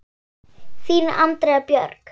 Þín, Andrea Björg.